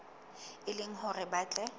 e le hore ba tle